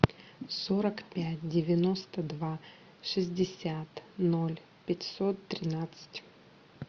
сорок пять девяносто два шестьдесят ноль пятьсот тринадцать